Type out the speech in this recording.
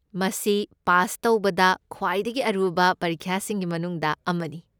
ꯃꯁꯤ ꯄꯥꯁ ꯇꯧꯕꯗ ꯈ꯭ꯋꯥꯏꯗꯒꯤ ꯑꯔꯨꯕ ꯄꯔꯤꯈ꯭ꯌꯥꯁꯤꯡꯒꯤ ꯃꯅꯨꯡꯗ ꯑꯃꯅꯤ꯫